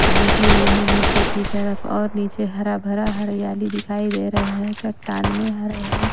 झुकी हुई है नीचे की तरफ और नीचे हरा-भरा हरियाली दिखाई दे रहा है चट्टान में हर --